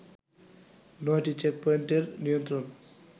নয়টি চেকপয়েন্টের নিয়ন্ত্রণ